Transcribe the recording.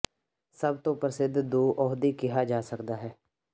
ਸਭ ਤੋ ਪ੍ਰਸਿੱਧ ਦੋ ਅਹੁਦੇ ਕਿਹਾ ਜਾ ਸਕਦਾ ਹੈ